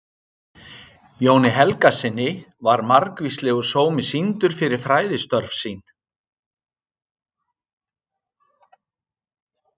Jóni Helgasyni var margvíslegur sómi sýndur fyrir fræðistörf sín.